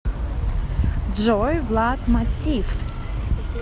джой влад матиф